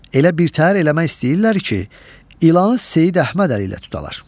Elə birtəhər eləmək istəyirlər ki, ilan Seyid Əhməd Əli ilə tutalar.